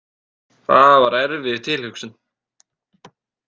Það var erfið tilhugsun.